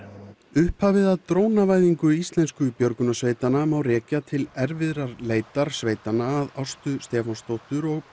upphafið af björgunarsveitanna má rekja til erfiðar leitar sveitanna að Ástu Stefánsdóttur og